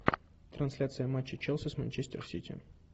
трансляция матча челси с манчестер сити